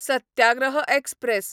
satyagraha express